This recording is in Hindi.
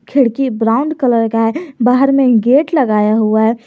खिड़की ब्राउन कलर का है बाहर में गेट लगाया हुआ है।